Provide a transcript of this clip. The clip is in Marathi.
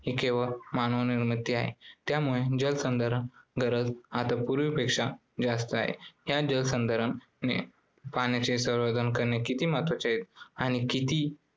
ही केवळ मानवनिर्मित आहे त्यामुळे जलसंधारण गरज आता पूर्वीपेक्षा जास्त आहे. या जलसंधारण नि~ अं पाण्याचे संवर्धन करणे किती महत्त्वाचे आहे आणि ते किती